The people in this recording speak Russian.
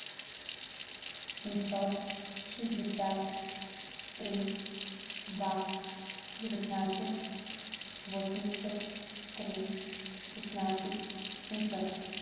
семьсот шестьдесят три два девятнадцать восемьдесят три шестнадцать семьсот